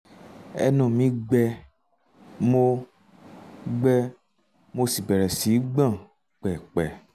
ẹnu mi um gbẹ mo um gbẹ mo sì bẹ̀rẹ̀ sí í gbọ̀n pẹ̀pẹ̀